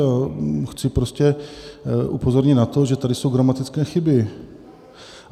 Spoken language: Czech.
A chci prostě upozornit na to, že tady jsou gramatické chyby.